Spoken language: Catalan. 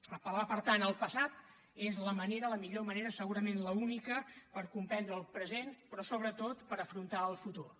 apel·lar per tant al passat és la manera la millor manera segurament l’única per comprendre el present però sobretot per afrontar el futur